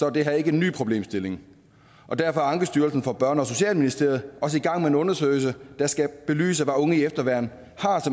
er det her ikke en ny problemstilling og derfor er ankestyrelsen for børne og socialministeriet også i gang med en undersøgelse der skal belyse hvad unge i efterværn